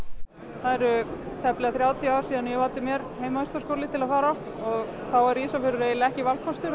það eru tæplega þrjátíu ár síðan ég valdi mér heimavistarskóla til að fara í og þá var Ísafjarðar ekki valkostur